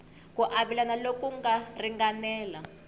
ku avelana loku nga ringanela